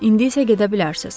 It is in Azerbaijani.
İndi isə gedə bilərsiz.